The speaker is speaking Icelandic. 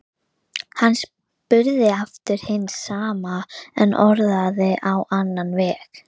Hann spurði aftur hins sama en orðaði á annan veg.